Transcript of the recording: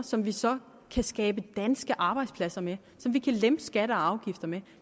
som vi så kan skabe danske arbejdspladser med som vi kan lempe skatter og afgifter med